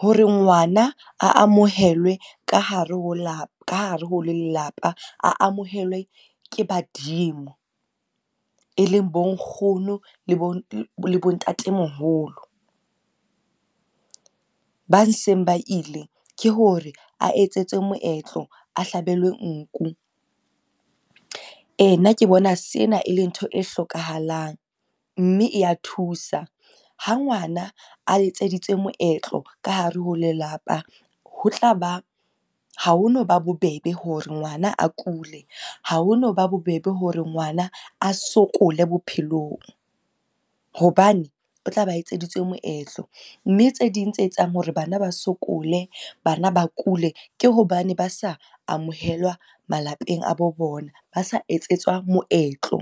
Hore ngwana a amohelwe ka hare ho lelapa, a amohelwe ke badimo. E leng bo nkgono le bo le bontatemoholo, ba seng ba ile ke hore a etsetswe moetlo a hlabelwe nku. Ee, nna ke bona sena e le ntho e hlokahalang mme e ya thusa. Ha ngwana a etseditswe moetlo ka hare ho lelapa ho tlaba, ha hono ba bobebe hore ngwana a kule, ha hono ba bobebe hore ngwana a sokole bophelong, hobane o tla ba etseditswe moetlo. Mme tse ding tse etsang hore bana ba sokole, bana ba kule, ke hobane ba sa amohelwa malapeng a bo bona, ba sa etsetswa moetlo.